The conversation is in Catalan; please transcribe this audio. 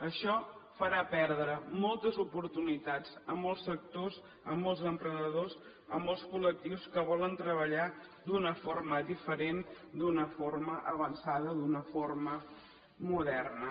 això farà perdre moltes oportunitats a molts sectors a molts emprenedors a molts col·lectius que volen treballar d’una forma diferent d’una forma avançada d’una forma moderna